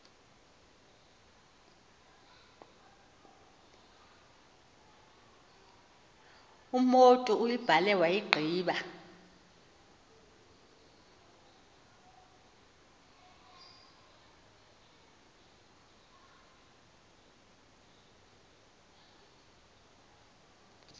umotu uyibhale wayigqiba